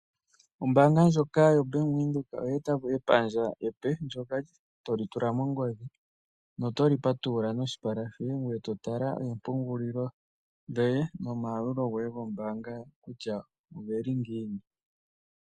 Ombaanga ndjoka yoBank Windhoek oyeeta po epandja epe ndyoka to li tula mongodhi, noto li patulula noshipala shoye ngoye to tala oompungulilo dhoye nomayalulo goye gombaanga kutya oge li ngiini.